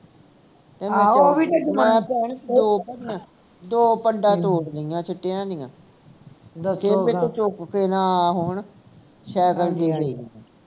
ਦੋ ਪੰਡਾ ਦੋ ਪੰਡਾ ਤੋੜ ਲਿਆਂ ਸਿਟੀਆਂ ਦੀਆਂ ਚੁੱਕ ਕੇ ਨਾ ਆ ਹੋਣ ਸਾਈਕਲ ਤੇ ਸੀ